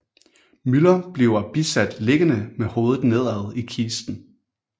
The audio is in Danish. Müller bliver bisat liggende med hovedet nedad i kisten